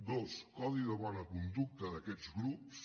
dos codi de bona conducta d’aquests grups